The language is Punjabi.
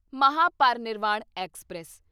ਮਹਾਪਰਿਨਿਰਵਾਣ ਐਕਸਪ੍ਰੈਸ